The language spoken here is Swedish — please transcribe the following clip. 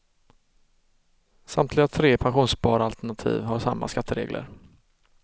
Samtliga tre pensionssparalternativ har samma skatteregler.